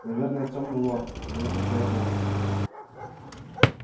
наверное тёмный лорд потому и хотел его убить